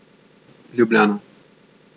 Ljubljana.